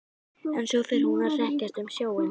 En svo fer hún að hrekjast um sjóinn.